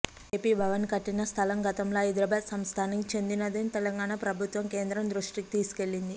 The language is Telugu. ఏపి భవన్ కట్టిన స్థలం గతంలో హైదరాబాద్ సంస్థానానికి చెందినదని తెలంగాణ ప్రభుత్వం కేంద్రం దృష్టికి తీసుకెళ్లింది